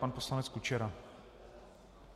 Pan poslanec Kučera.